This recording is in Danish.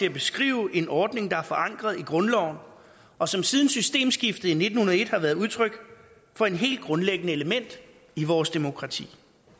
at beskrive en ordning der er forankret i grundloven og som siden systemskiftet i nitten hundrede og en har været udtryk for et helt grundlæggende element i vores demokrati